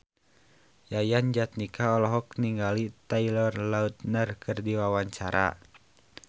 Yayan Jatnika olohok ningali Taylor Lautner keur diwawancara